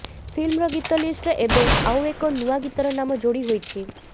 ଫିଲ୍ମର ଗୀତ ଲିଷ୍ଟରେ ଏବେ ଆଉ ଏକ ନୂଆ ଗୀତର ନାମ ଯୋଡି ହୋଇଛି